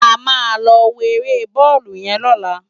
Ámá lò wó éré bòlú yèn lòlá